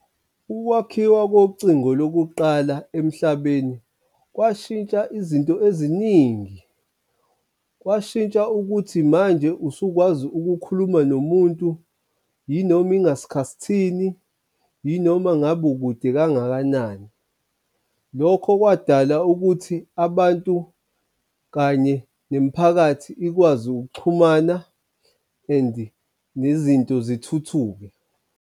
Ukwakhiwa kocingo lokuqala emhlabeni kwashintsha izinto eziningi, kwashintsha ukuthi manje usukwazi ukukhuluma nomuntu yinoma ingasikhathini, yinoma ngabe ukude kangakanani. Lokho kwadala ukuthi abantu kanye nemiphakathi ikwazi ukuxhumana and nezinto zithuthuke.